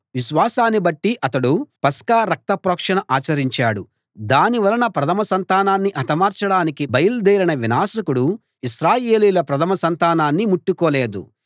విశ్వాసాన్ని బట్టి అతడు పస్కా రక్త ప్రోక్షణ ఆచరించాడు దానివలన ప్రథమ సంతానాన్ని హతమార్చడానికి బయల్దేరిన వినాశకుడు ఇశ్రాయేలీయుల ప్రథమ సంతానాన్ని ముట్టుకోలేదు